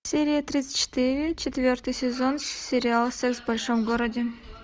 серия тридцать четыре четвертый сезон сериала секс в большом городе